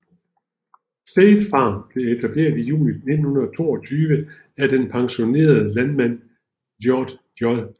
State Farm blev etableret i juni 1922 af den pensionerede landmand George J